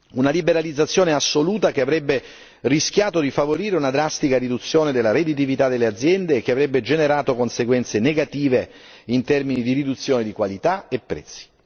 Una liberalizzazione assoluta, che avrebbe rischiato di favorire una drastica riduzione della redditività delle aziende e che avrebbe generato conseguenze negative in termini di riduzione di qualità e prezzi.